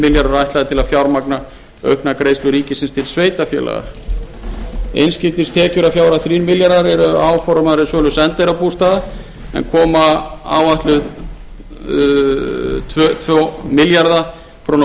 milljarðar ætlaðir til að fjármagna auknar greiðslur ríkisins til sveitarfélaga innflutningstekjur að fjárhæð þrír milljarðar eru áformaðar af sölu sendiherrabústaða en koma áætluð tvo milljarða króna